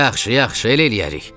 Yaxşı, yaxşı, elə eləyərik.